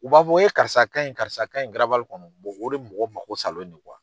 U b'a fɔ karisa ka ɲi karisa ka ɲi garabali kɔnɔ o de mɔgɔ mako salen do